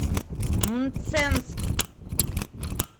мценск